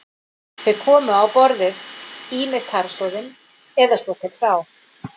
Þau komu á borðið ýmist harðsoðin eða svo til hrá